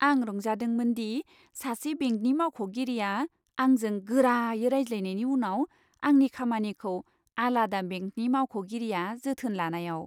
आं रंजादोंमोनदि सासे बेंकनि मावख'गिरिया आंजों गोरायै रायज्लायनायनि उनाव आंनि खामानिखौ आलादा बेंकनि मावख'गिरिया जोथोन लानायाव।